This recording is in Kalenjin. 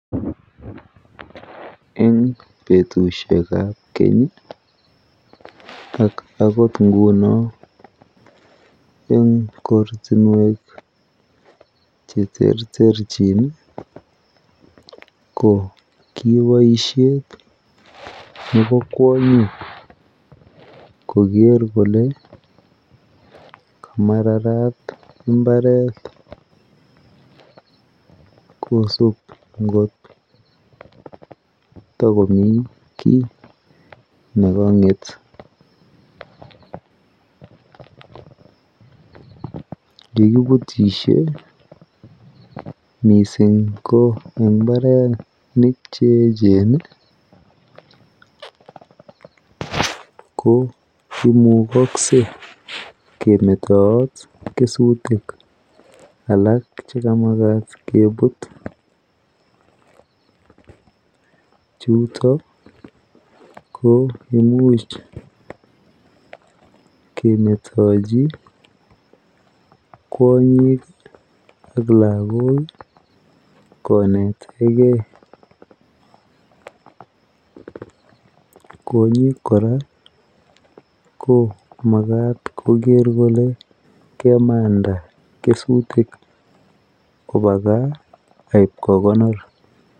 Eng betushekab keny ak akot ingunon eng kortinwek cheterterchin, ko ki boisyet nebo kwanyik koger kole kamararat imbaret kosubot kotakomi nekanget, kikibutisye mising eng imbarenik cheechen, ko imukakse kemetaat kesutik alak chekamakat kebut, chutok ko imuch kemetachi kwanyik ak lagok koneteken , kwonyik koraa ko makat konai kole kemandai kesutik koba kaa, akib kokonor.